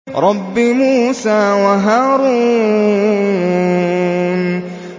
رَبِّ مُوسَىٰ وَهَارُونَ